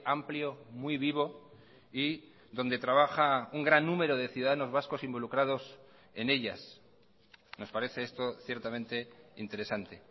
amplio muy vivo y donde trabaja un gran número de ciudadanos vascos involucrados en ellas nos parece esto ciertamente interesante